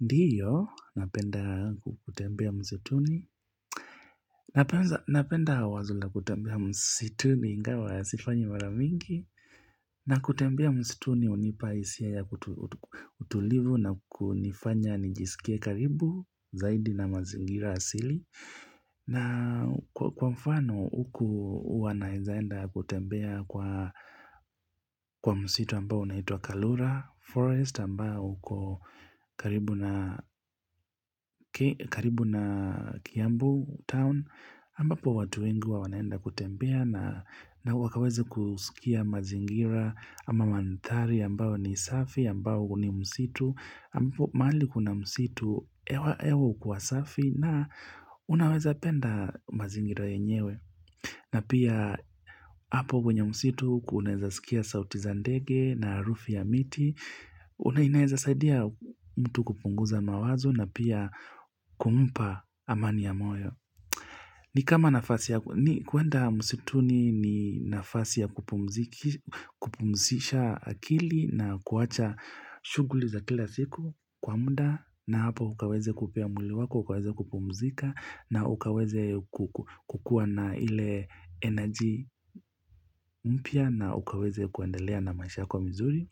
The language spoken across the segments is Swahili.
Ndiyo, napenda kutembea msituni, napenda wazo la kutembea msituni ingawa ya siifanyi mara mingi, na kutembea msituni hunipa hisia ya kutu utulivu na kunifanya nijisikia karibu zaidi na mazingira asili. Na kwa mfano huku wanaweza enda kutembea kwa msitu ambao unaitwa Kalura Forest ambao uko karibu na karibu na Kiambu Town ambapo watu wengi huwa wanaenda kutembea na wakaweza kusikia mazingira ama mandhari ambao ni safi ambao ni msitu. Ambapo mahali kuna msitu hewa hewa hukuwa safi na unaweza penda mazingira yenyewe na pia hapo kwenye msitu unaweza sikia sauti za ndege na harufu ya miti na inaweza saidia mtu kupunguza mawazo na pia kumpa amani ya moyo ni kama nafasi ya kuenda msitu ni nafasi ya kupumzisha akili na kuwacha shughuli za kila siku kwa muda na hapa ukaweze pia mwili wako, ukaweze kupumzika na ukaweze kukuwa na ile energy mpya na ukaweze kuandelea na maisha kwa mzuri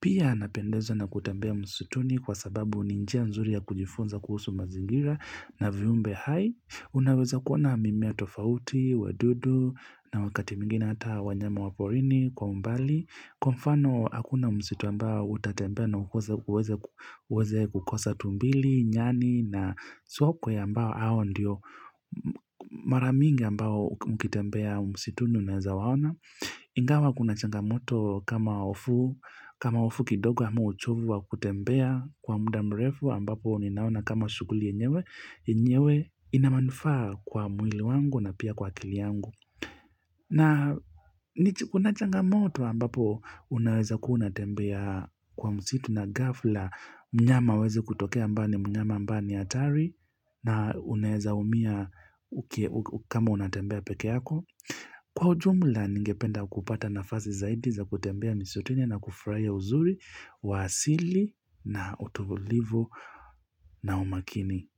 pia napendezwa na kutembea msituni kwa sababu ni njia mzuri ya kujifunza kuhusu mazingira na viumbe hai, unaweza kuona mimea tofauti, wadudu na wakati mwingine hata wanyama waporini kwa umbali Kwa mfano hakuna msitu ambao utatembea na uweze kukosa tumbili, nyani na sokwe ya ambao hawa ndiyo mara mingi ambao mkitembea msitu unaweza waona. Ingawa kuna changamoto kama hofu, kama hofu kidogo ama uchovu wa kutembea kwa muda mrefu ambapo ninaona kama shughuli yenyewe, yenyewe inamanufaa kwa mwili wangu na pia kwa kili yangu. Na ni kunachanga moto ambapo unaweza kuwa unatembea kwa msitu na ghafla mnyama aweze kutokea ambaye mnyama ambaye ni hatari na unaweza humia kama unatembea peke yako. Kwa ujumla ningependa kupata nafasi zaidi za kutembea msituni na kufurahia uzuri wa asili na utulivu na umakini.